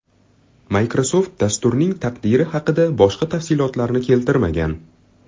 Microsoft dasturning taqdiri haqida boshqa tafsilotlarni keltirmagan.